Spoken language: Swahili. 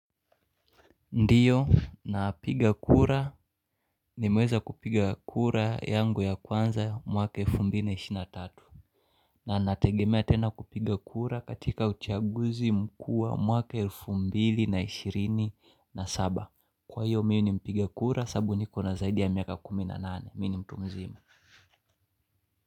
Ndiyo napiga kura ni muweza kupiga kura yangu ya kwanza mwaka elfu mbili na ishi na tatu na nategemea tena kupiga kura katika uchaguzi mku wa mwaka elfu mbili na ishirini na saba Kwa hiyo mi ni mpiga kura sabu ni kona zaidi ya miaka kumi na nane mi ni mtu mzima.